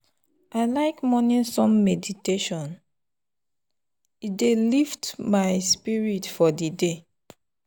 i like morning sun meditation — e dey lift my spirit for the day.